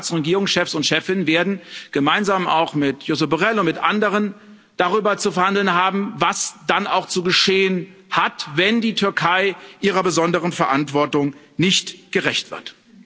Die Staats und Regierungschefs und chefinnen werden gemeinsam auch mit Josep Borrell und mit anderen darüber zu verhandeln haben, was dann auch zu geschehen hat, wenn die Türkei ihrer besonderen Verantwortung nicht gerecht wird.